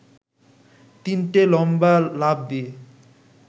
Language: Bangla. তিনটে লম্বা লাফ দিয়ে